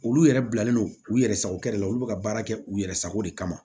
Olu yɛrɛ bilalen no u yɛrɛ sago de la olu bɛ ka baara kɛ u yɛrɛ sago de kama